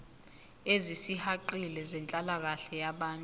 ezisihaqile zenhlalakahle yabantu